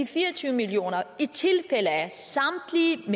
fire og tyve million kr i tilfælde af